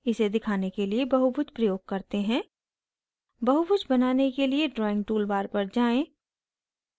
इसे दिखाने के लिए बहुभुज प्रयोग करते हैं बहुभुज बनाने के लिए drawing toolbar पर जाएँ